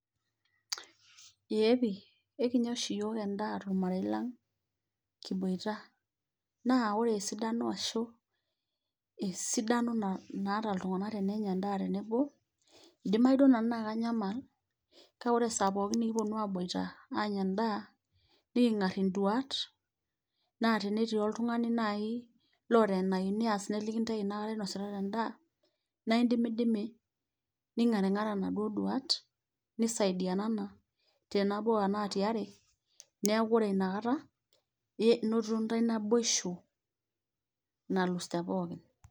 Eeeh pii, ekinya ooshi iyiok en'daa tormarei lang kiboita. Naa oore esidano arashu, esidano naata iltung'anak tenenya en'daa tenebo, eidimau duo naaji nanu naa kanyamal kake oore esaa pooki nekiponu aboita aanya en'daa, neking'ar in'duaat naa tenetii oltung'ani naaji oota eneyiu niaas neliki intae eena kaata inositata en'daa, naa idimidimi ning'aring'ara inaduo duaat, nisaidianana tenabo enaa tiaare, niaku oore iina kata inotito iintae naboisho nalus te pooki.